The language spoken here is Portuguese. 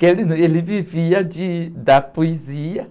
Porque ele num, ele vivia de, da poesia,